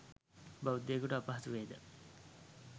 බෞද්ධයෙකුට අපහසු වේ ද?